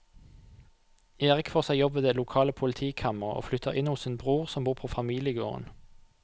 Erik får seg jobb ved det lokale politikammeret og flytter inn hos sin bror som bor på familiegården.